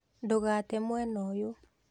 Ndũgate mwena uyu